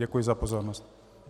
Děkuji za pozornost.